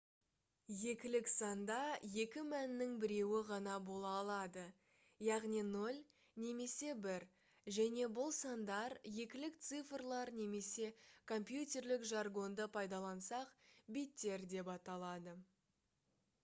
екілік санда екі мәннің біреуі ғана бола алады яғни 0 немесе 1 және бұл сандар екілік цифрлар немесе компьютерлік жаргонды пайдалансақ биттер деп аталады